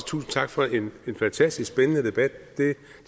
tusind tak for en fantastisk spændende debat det